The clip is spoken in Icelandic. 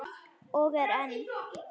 Og er enn.